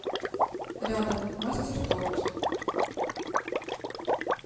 рядом мастер торт